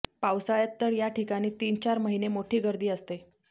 पावसाळ्यात तर याठिकाणी तीनचार महिने मोठी गर्दी असते